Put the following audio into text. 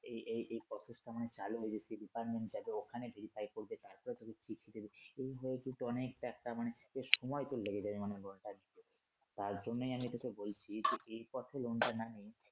এ এই এই process টা চালু হয়ে গেছিলো department থেকে ওখানে verify করবে তারপরে তোকে চিঠি দিবে। এই গুলা কিন্তু অনেক একটা মানে সময় তোর লেগে যাবে মনে কর তার জন্যই আমি তোকে বলছি যে এই পথে loan টা না নিয়ে